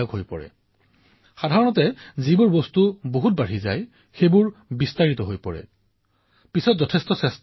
বাদবিবাদ চলি থাকিব পক্ষবিপক্ষ চলি থাকিব কিন্তু কিছুমান বস্তু বৃদ্ধি হোৱাৰ পূৰ্বেই যদি ইয়াক স্তব্ধ কৰা হয় তেন্তে লাভ অধিক হব